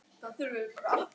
Kiddi hlær.